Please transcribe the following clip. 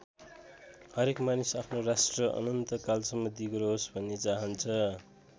हरेक मानिस आफ्नो राष्ट्र अनन्त कालसम्म दिगो रहोस् भन्ने चाहन्छ।